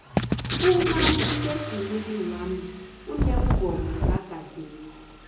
umaliledinini wami uneengoma zagadesi